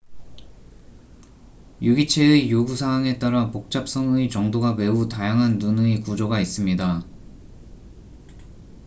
유기체의 요구 사항에 따라 복잡성의 정도가 매우 다양한 눈의 구조가 있습니다